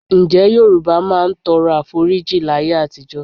Ǹjẹ́ Yorùbá máa ń tọrọ Àforíjì láyé àtijọ́?